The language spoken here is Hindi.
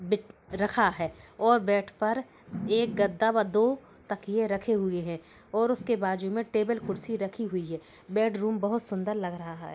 बेड रखा है और बेड पर एक गद्दा व दो तकिए रखे हुए हैं और उसके बाजू में टेबल कुर्सी रखी हुई है। बेडरूम बहोत सुंदर लग रहा है।